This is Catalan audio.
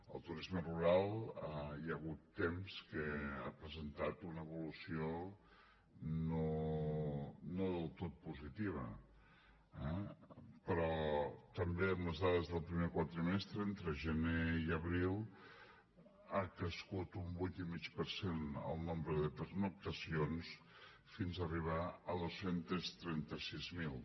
el turisme rural hi ha hagut temps que ha presentat una evolució no del tot positiva eh però també amb les dades del primer quadrimestre entre gener i abril ha crescut un vuit i mig per cent el nombre de pernoctacions fins a arribar a dos cents i trenta sis mil